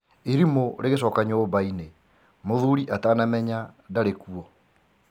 irimũ rĩgĩcoka nyũmbaini mũthuri atanamenya ndarĩ kuo.